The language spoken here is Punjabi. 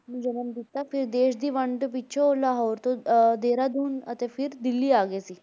ਨੂੰ ਜਨਮ ਦਿੱਤਾ, ਫਿਰ ਦੇਸ ਦੀ ਵੰਡ ਪਿੱਛੋਂ ਲਾਹੌਰ ਤੋਂ ਅਹ ਦੇਹਰਾਦੂਨ ਅਤੇ ਫਿਰ ਦਿੱਲੀ ਆ ਗਏ ਸੀ।